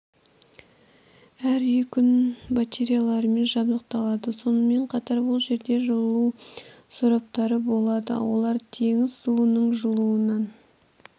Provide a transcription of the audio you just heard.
әр үй күн батареяларымен жабдықталады сонымен қатар бұл жерде жылу сораптары болады олар теңіз суының жылуынан